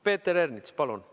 Peeter Ernits, palun!